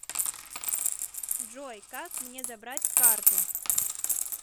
джой как мне забрать карту